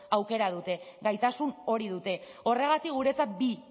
aukera dute gaitasun hori dute horregatik guretzat bi